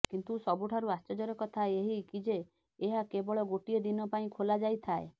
କିନ୍ତୁ ସବୁଠାରୁ ଆଶ୍ଚର୍ଯ୍ୟର କଥା ଏହି କି ଯେ ଏହା କେବଳ ଗୋଟିଏ ଦିନ ପାଇଁ ଖୋଲାଯାଇଥାଏ